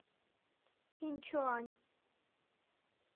иньчуань